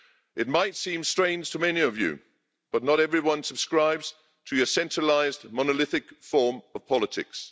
It might seem strange to many of you, but not everyone subscribes to a centralised monolithic form of politics.